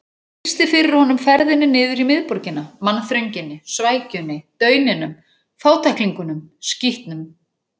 Hún lýsti fyrir honum ferðinni niður í miðborgina: mannþrönginni, svækjunni, dauninum, fátæklingunum, skítnum.